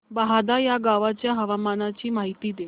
बहादा या गावाच्या हवामानाची माहिती दे